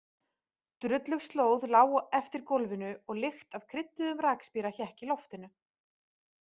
Drullug slóð lá eftir gólfinu og lykt af krydduðum rakspíra hékk í loftinu.